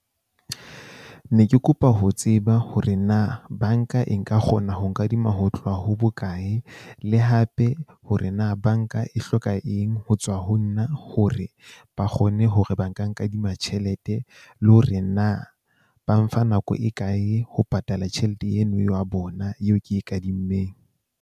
Ne ke kopa ho tseba hore na bank-a e nka kgona ho nkadima ho tloha ho bokae, le hape hore na bank-a e hloka eng ho tswa ho nna na hore ba kgone hore ba nka nkadima tjhelete. Le hore na ba mfa nako e kae ho patala tjhelete eno ya bona yeo ke e kadimmeng.